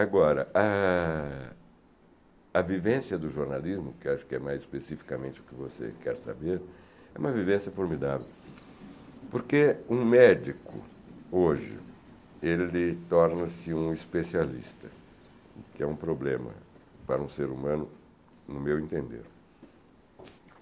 Agora, a a vivência do jornalismo, que acho que é mais especificamente o que você quer saber, é uma vivência formidável, porque um médico, hoje, ele torna-se um especialista, o que é um problema para um ser humano, no meu entender.